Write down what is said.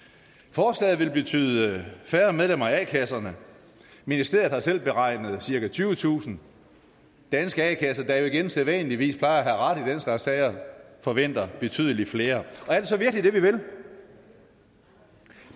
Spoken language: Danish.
forslaget vil betyde færre medlemmer af a kasserne ministeriet har selv beregnet cirka tyvetusind danske a kasser der jo igen sædvanligvis plejer at have ret i den slags sager forventer betydelig flere og er det så virkelig det vi vil